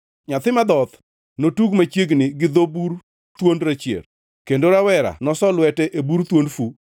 Nyathi madhoth notug machiegni gi dho bur thuond rachier, kendo rawera noso lwete e bur thuond fu.